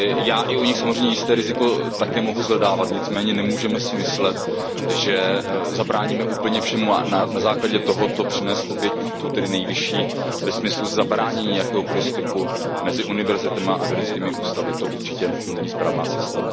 Já i u nich samozřejmě jisté riziko také mohu shledávat, nicméně nemůžeme si myslet, že zabráníme úplně všemu, a na základě tohoto přinést oběť i tu nejvyšší ve smyslu zabránění jakéhokoliv styku mezi univerzitami a vědeckými ústavy, to určitě není správná cesta.